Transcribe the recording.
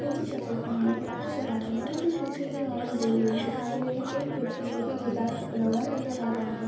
नीचे चप्पल पहने हुए नजर आ रही है उनके पीछे भी और दो लोग दिखाई दे रहे हैं एक व्यक्ति जो की गिटार पकड़ा हुआ नजर आ रहा है।